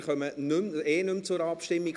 Wir kommen sowieso nicht mehr zur Abstimmung.